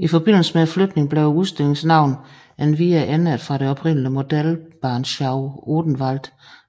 I forbindelse med flytningen blev udstillingens navn endvidere ændret fra det oprindelige Modellbahnschau Odenwald